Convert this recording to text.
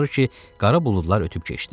Axır ki, qara buludlar ötüb keçdi.